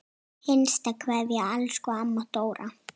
HINSTA KVEÐJA Elsku amma Dóra.